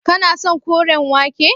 Kana son koren wake.